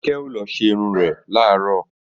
Kíkẹ́ ó lọ ṣerun rẹ̀ làárọ̀